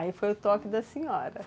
Aí foi o toque da senhora.